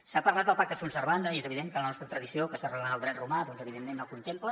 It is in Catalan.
s’ha parlat del pacta sunt servanda i és evident que la nostra tradició que s’arrela en el dret romà doncs evidentment ho contempla